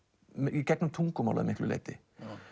í gegnum tungumálið að miklu leyti